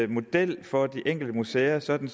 model for de enkelte museer sådan